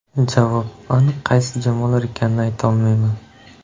Javob: Aniq qaysi jamoalar ekanini ayta olmayman.